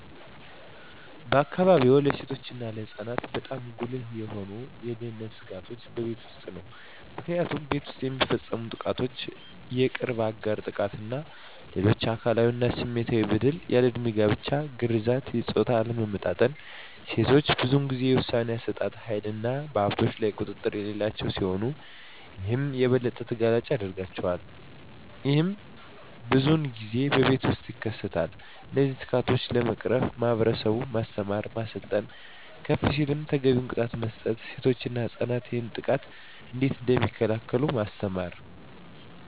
በአካባቢዎ ለሴቶች እና ለህፃናት በጣም ጉልህ የሆኑ የደህንነት ስጋቶች በቤት ውስጥ ነው። ምክንያቱም ቤት ውስጥ የሚፈፀሙ ጥቃቶች የቅርብ አጋር ጥቃት እና ሌሎች አካላዊ እና ስሜታዊ በደል፣ ያልድሜ ጋብቻ፣ ግርዛት፣ የፆታ አለመመጣጠን፣ ሴቶች ብዙን ጊዜ የውሣኔ አሠጣጥ ሀይልና በሀብቶች ላይ ቁጥጥር የሌላቸው ሲሆን ይህም የበለጠ ተጋላጭ ያደርጋቸዋል። ይህም ብዙን ጊዜ በቤት ውስጥ ይከሰታል። እነዚህን ስጋቶች ለመቅረፍ ማህበረሰቡን ማስተማር፣ ማሰልጠን፣ ከፍ ሲልም ተገቢውን ቅጣት መስጠት፣ ሴቶች እና ህፃናት ይህንን ጥቃት እንዴት እደሚከላከሉ ማስተማር።